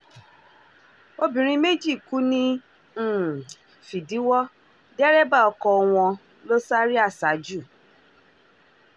obìnrin méjì kú ní um fìdíwọ́ dẹ́rẹ́bà ọkọ wọn um ló sáré aṣájú